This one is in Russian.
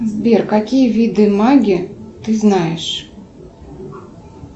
сбер какие виды магии ты знаешь